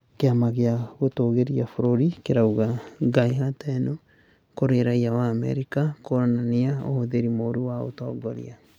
Kĩama gĩa gũtũũgĩria bũrũri kĩrauga ngahĩha teno kũrĩ raiya wa Amerika nĩkwonania ũhothĩri mũru wa ũũtongoria